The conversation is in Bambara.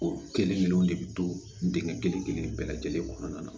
O kelen kelen de bɛ to dingɛ kelen kelen bɛɛ lajɛlen kɔnɔna na